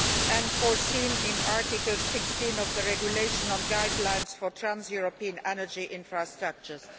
and foreseen in Article 16 of the Regulation on guidelines for trans European energy infrastructures.